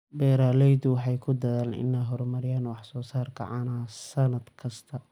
Beeraleydu waxay ku dadaalaan inay horumariyaan wax soo saarka caanaha sannad kasta.